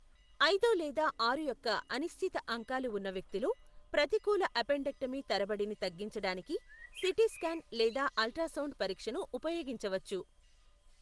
ఐదు లేదా ఆరు యొక్క అనిశ్చిత అంకాలు ఉన్న వ్యక్తిలో, ప్రతికూల అపెండెక్టమీ తరబడిని తగ్గించడానికి సిటీ స్కాన్ లేదా అల్ట్రాసౌండ్ పరీక్షను ఉపయోగించవచ్చు.